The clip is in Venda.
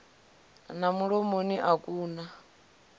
na mulomoni a ku na